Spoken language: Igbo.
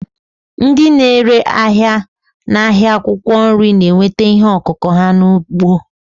Ndị na-ere ahịa n'ahịa akwụkwọ nri na-enweta ihe ọkụkụ ha n'ugbo.